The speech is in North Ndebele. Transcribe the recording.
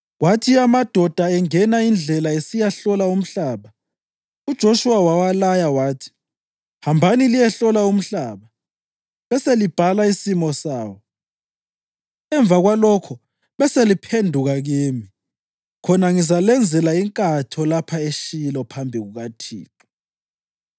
Kwathi amadoda engena indlela esiyahlola umhlaba, uJoshuwa wawalaya wathi, “Hambani liyehlola umhlaba beselibhala isimo sawo. Emva kwalokho beseliphenduka kimi, khona ngizalenzela inkatho lapha eShilo phambi kukaThixo.”